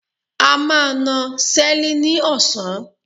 A máa na Seli ni osan